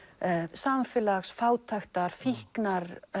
samfélags fátæktar fíknar